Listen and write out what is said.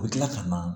U bɛ tila ka na